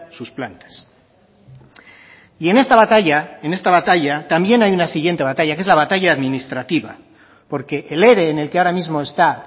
sus plantas y en esta batalla en esta batalla también hay una siguiente batalla que es la batalla administrativa porque el ere en el que ahora mismo está